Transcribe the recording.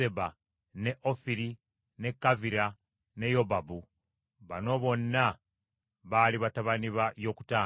ne Ofiri, ne Kavira ne Yobabu; bano bonna baali batabani ba Yokutaani.